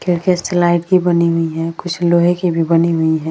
खिड़कियां स्लाइड की बनी हुई हैं । कुछ लोहे की भी बनी हुई हैं ।